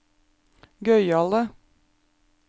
gøyale